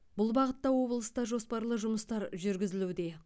бұл бағытта облыста жоспарлы жұмыстар жүргізілуде